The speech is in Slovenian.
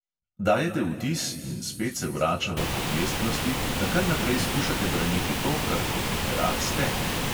Dajete vtis, in spet se vračava k objestnosti, da kar naprej skušate braniti to, kar kot literat ste.